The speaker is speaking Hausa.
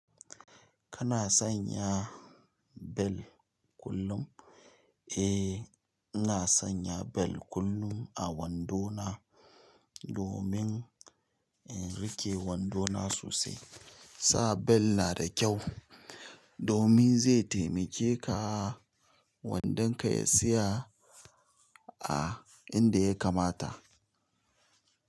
Kana sanya bel kullum? Eh, ina sanya bel kullum a wando na domin in riƙe wando na sosai. Sa bel nada ƙyau domin zai taimake ka wandanka ya tsaya a inda ya kamata.